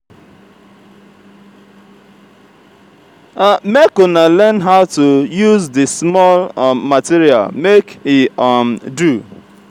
make una learn how to use di small um material make e um do.